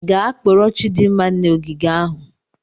Gaa kporo Chidinma n'ogige ahụ.